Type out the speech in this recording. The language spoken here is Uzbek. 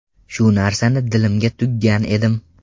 Shu narsani dilimga tuggan edim.